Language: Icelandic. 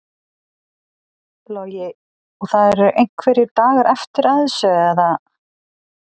Logi: Og það eru einhverjir dagar eftir að þessu eða?